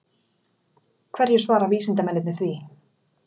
Hverju svara vísindamennirnir því?